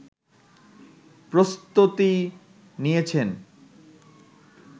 প্রস্তুতি নিয়েছেন